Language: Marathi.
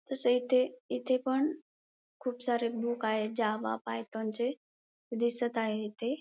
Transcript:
तसे इथे इथे पण खुप सारे बुक आहेत जावा पायथॉन चे दिसत आहे इथे.